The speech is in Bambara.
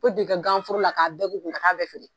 U bɛ don i ka ganforo la k'a bɛɛ k'u kun ka taa bɛɛ